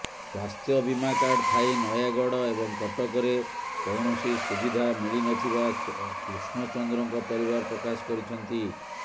ସ୍ବାସ୍ଥ୍ୟ ବୀମା କାର୍ଡ ଥାଇ ନୟାଗଡ଼ ଏବଂ କଟକରେ କୌଣସି ସୁବିଧା ମିଳିନଥିବା କୃଷ୍ଣଚନ୍ଦ୍ରଙ୍କ ପରିବାର ପ୍ରକାଶ କରିଛନ୍ତି